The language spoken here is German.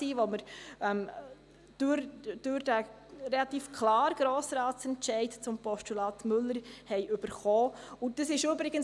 Das war denn auch der Auftrag des relativ klaren Entscheids des Grossen Rates zum Postulat Müller , den wir erhalten hatten.